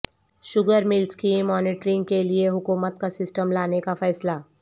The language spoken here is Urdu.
شوگر ملزکی مانیٹرنگ کےلئے حکومت کا سسٹم لانے کا فیصلہ